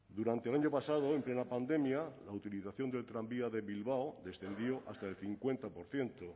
durante el año pasado en plena pandemia la utilización del tranvía de bilbao descendió hasta el cincuenta por ciento